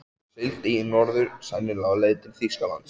Hann sigldi í norður, sennilega á leið til Þýskalands.